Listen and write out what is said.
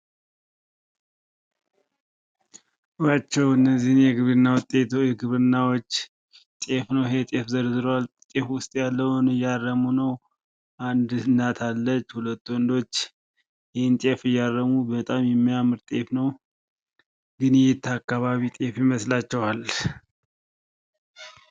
እዩአቸው እነዚህን የግብርና ውጤቶች ግብርናዎች ። ጤፍ ነው ይህ ጤፍ ዘርዝሯል ጤፍ ውስጥ ያለውን እያረሙ ነው ። አንድ እናት አለች ሁለት ወንዶች ይህን ጤፍ እያረሙ በጣም የሚያምር ጤፍ ነው ። ግን የየት አካባቢ ጤፍ ይመስላችኋል?